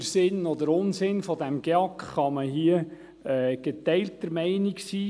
Über Sinn oder Unsinn dieses GEAK kann man hier geteilter Meinung sein.